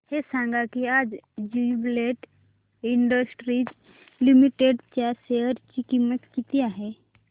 हे सांगा की आज ज्युबीलेंट इंडस्ट्रीज लिमिटेड च्या शेअर ची किंमत किती आहे